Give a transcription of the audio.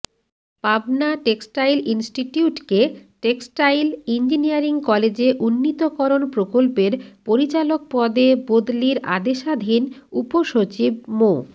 Pabna textile ইনস্টিটিউটকে textile engineering কলেজে উন্নীতকরণ প্রকল্পের পরিচালক পদে বদলির আদেশাধীন উপসচিব মো